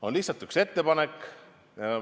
On lihtsalt üks ettepanek.